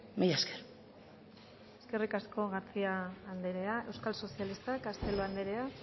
mila esker eskerrik asko garcía andrea euskal sozialistak castelo andrea